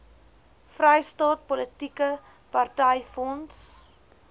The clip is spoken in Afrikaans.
vrystaat politieke partyfonds